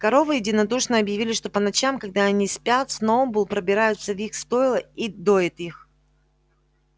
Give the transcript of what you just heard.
коровы единодушно объявили что по ночам когда они спят сноуболл пробирается в их стойла и доит их